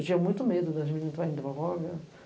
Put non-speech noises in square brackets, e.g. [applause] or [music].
Eu tinha muito medo de as meninas [unintelligible] drogas.